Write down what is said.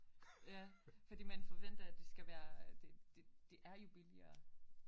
Ja fordi man forventer at det skal være det det det er jo billigere